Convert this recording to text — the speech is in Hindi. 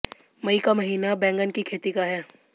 मई का महीना बैंगन की खेती का है